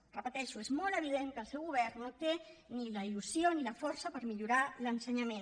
ho repeteixo és molt evident que el seu govern no té ni la il·lusió ni la força per millorar l’ensenyament